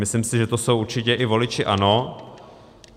Myslím si, že to jsou určitě i voliči ANO.